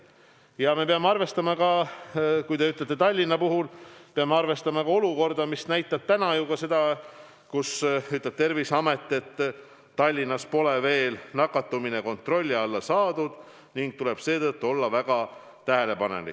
Ja mis puutub Tallinnasse, siis me peame arvestama ka seda, et Terviseamet ütleb, et Tallinnas pole veel nakatumine kontrolli alla saadud ning seetõttu tuleb olla väga tähelepanelik.